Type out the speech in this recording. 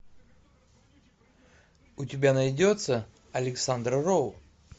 у тебя найдется александр роу